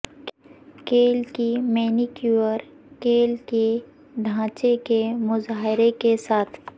کیل کی مینیکیور کیل کے ڈھانچے کے مظاہرے کے ساتھ